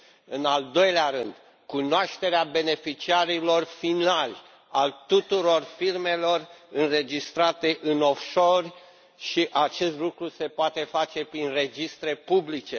În al doilea rând, cunoașterea beneficiarilor finali, a tuturor firmelor înregistrate offshore și acest lucru se poate face prin registre publice.